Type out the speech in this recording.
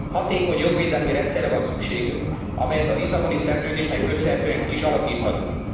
Hatékony jogvédelmi rendszerre van szükségünk, amelyet a Lisszaboni Szerződésnek köszönhetően ki is alakíthatunk.